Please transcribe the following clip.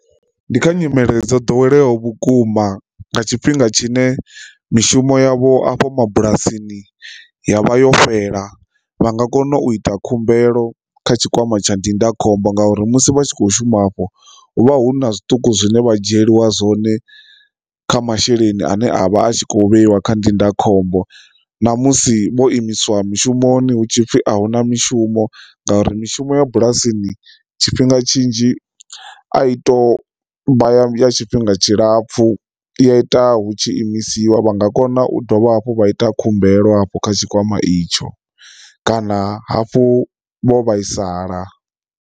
Ndi kha nyimele dzo ḓoweleaho vhukuma nga tshifhinga tshine mishumo yavho afho mabulasini ya vha yo fhela vha nga kona u ita khumbelo kha tshikwama tsha ndindakhombo ngauri musi vha tshi kho shuma afho hu vha hu na zwiṱuku zwine vha dzhieliwa zwone kha masheleni ane a vha a tshi kho vheiwa kha ndindakhombo, na musi vho imiswa mishumoni hu tshipfi ahuna mishumo ngauri mishumo ya bulasini tshifhinga tshinzhi a i to vha ya tshifhinga tshilapfu ya ita hu tshi imisiwa vha nga kona u dovha hafhu vha ita khumbelo hafho kha tshikwama itsho kana hafhu vho vhaisala.